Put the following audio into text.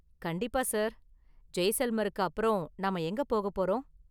கண்டிப்பா சார், ஜெய்சல்மருக்கு அப்பறம் நாம எங்க போக போறோம்?